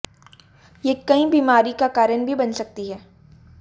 ये कई बीमारी का कारण भी बन सकती है